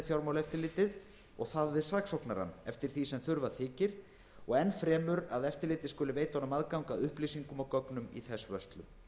fjármálaeftirlitið og það við saksóknarann eftir því sem þurfa þykir og enn fremur að eftirlitið skuli veita honum aðgang að upplýsingum og gögnum í þess vörslu